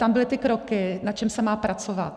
Tam byly ty kroky, na čem se má pracovat.